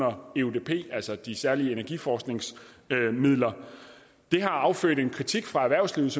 om eudp altså de særlige energiforskningsmidler det har affødt kritik fra erhvervslivets